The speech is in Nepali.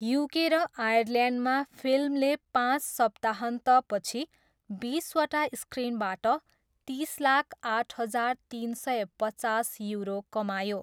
युके र आयरल्यान्डमा, फिल्मले पाँच सप्ताहन्तपछि बिसवटा स्क्रिनबाट तिस लाख आठ हजार तिन सय पचास युरो कमायो।